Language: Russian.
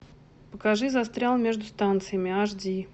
покажи застрял между станциями аш ди